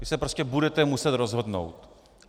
Vy se prostě budete muset rozhodnout.